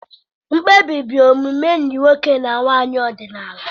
Mkpebi bụ omume enyi nwoke na nwanyị ọdịnala.